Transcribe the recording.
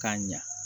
K'a ɲa